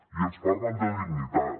i ens parlen de dignitat